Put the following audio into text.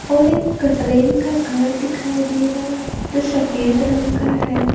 और एक कट्रेन का घर दिखाई दे रहा है जो शफेद रंग का है।